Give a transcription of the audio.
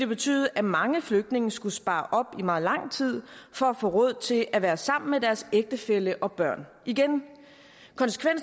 betyde at mange flygtninge skulle spare op i meget lang tid for at få råd til at være sammen med deres ægtefælle og børn og igen